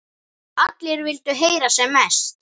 Allir vildu heyra sem mest.